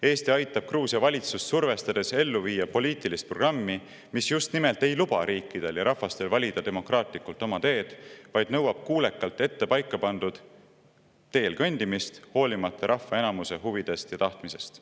Eesti aitab Gruusia valitsust survestades ellu viia poliitilist programmi, mis just nimelt ei luba riikidel ja rahvastel valida demokraatlikult oma teed, vaid nõuab kuulekalt ette paika pandud teel kõndimist, hoolimata rahva enamuse huvidest ja tahtmisest.